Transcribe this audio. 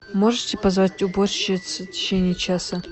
можете позвать уборщицу в течение часа